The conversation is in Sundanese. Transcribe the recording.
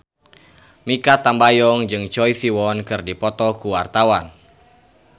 Mikha Tambayong jeung Choi Siwon keur dipoto ku wartawan